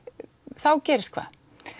þá gerist hvað